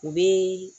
U bɛ